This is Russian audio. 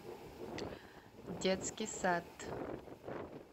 детский сад